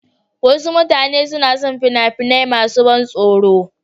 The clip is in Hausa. Wasu mutane suna son fina-finai masu ban tsoro.